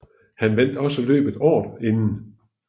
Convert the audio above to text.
Han vandt også løbet året inden